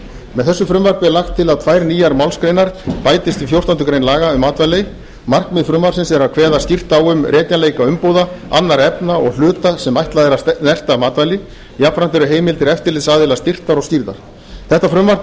með þessu frumvarpi er lagt til að tvær nýjar málsgreinar bætist við fjórtándu grein laga um matvæli markmið frumvarpsins er að kveða skýrt á við um rekjanleika umbúða annarra efna og hluta sem ætlað er að snerta matvæli jafnframt eru heimildir eftirlitsaðila styrktar og skýrðar þetta frumvarp er